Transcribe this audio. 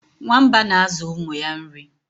nwamba na-azụ ụmụ ya nri